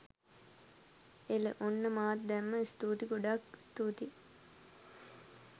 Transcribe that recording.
එල.ඔන්න මාත් දැන්ම.ස්තුතියි ගොඩාක් ස්තුතියි